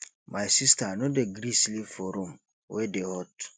my sista no dey gree sleep for room wey dey hot